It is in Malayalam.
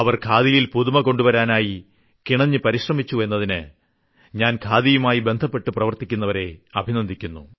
ഖാദിയിൽ പുതുമകൊണ്ടുവരുവാനായി കിണഞ്ഞ് പരിശ്രമിച്ചു എന്നതിന് ഞാൻ ഖാദിയുമായി ബന്ധപ്പെട്ട് പ്രവർത്തിക്കുന്നവരെ അഭിനന്ദിക്കുന്നു